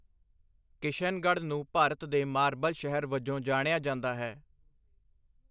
ਕਿਸ਼ਨਗੜ੍ਹ ਨੂੰ ਭਾਰਤ ਦੇ ਮਾਰਬਲ ਸ਼ਹਿਰ ਵਜੋਂ ਜਾਣਿਆ ਜਾਂਦਾ ਹੈ।